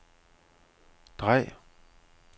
drej